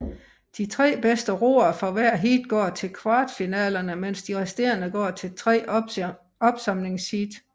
De tre bedste roere fra hvert heat går til kvartfinalerne mens de resterende går til tre opsamlingsheat